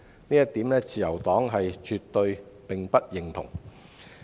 這一點是自由黨絕對不認同的。